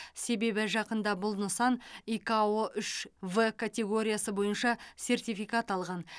себебі жақында бұл нысан икао үш в катеоргиясы бойынша сертификат алған